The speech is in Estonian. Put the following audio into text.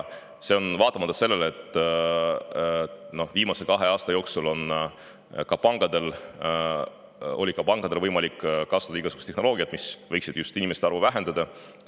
Seda vaatamata sellele, et viimase kahe aasta jooksul on pankadel olnud võimalik kasutada igasugust tehnoloogiat, mis võiks just arvu vähendada.